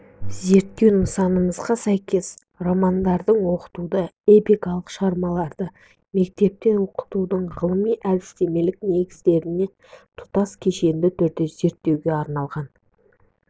зерттеу нысанымызға сәйкес романдарды оқытуды эпикалық шығармаларды мектепте оқытудың ғылыми-әдістемелік негіздерімен тұтас кешенді түрде зерттеуге арналған